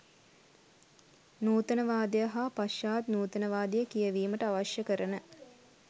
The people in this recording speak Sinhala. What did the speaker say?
නූතනවාදය හා පශ්චාත් නූතනවාදය කියැවීමට අවශ්‍ය කරන